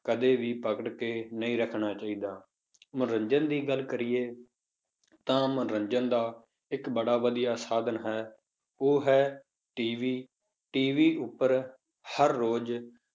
ਕਦੇ ਵੀ ਪਕੜ ਕੇ ਨਹੀਂ ਰੱਖਣਾ ਚਾਹੀਦਾ, ਮਨੋਰੰਜਨ ਦੀ ਗੱਲ ਕਰੀਏ ਤਾਂ ਮਨੋਰੰਜਨ ਦਾ ਇੱਕ ਬੜਾ ਵਧੀਆ ਸਾਧਨ ਹੈ, ਉਹ ਹੈ TVTV ਉੱਪਰ ਹਰ ਰੋਜ਼